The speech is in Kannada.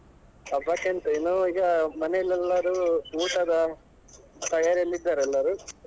ಹಬ್ಬಕ್ಕೆಂತ ಇನ್ನೂ ಈಗ ಮನೆಲ್ಲೆಲರು ಊಟದ ತಯಾರಿಯಲ್ಲಿ ಇದ್ದಾರೆ ಎಲ್ಲರೂ.